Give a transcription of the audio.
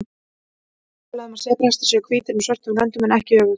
Yfirleitt er talað um að sebrahestar séu hvítir með svörtum röndum en ekki öfugt.